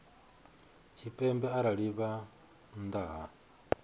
tshipembe arali vha nnḓa ha